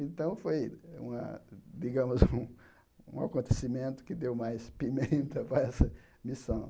Então, foi, uma digamos, um acontecimento que deu mais pimenta para essa missão.